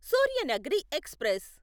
Suryanagari express